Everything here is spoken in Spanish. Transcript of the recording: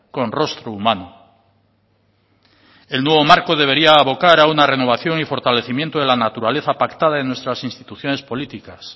con rostro humano el nuevo marco debería abocar a una renovación y fortalecimiento de la naturaleza pactada en nuestras instituciones políticas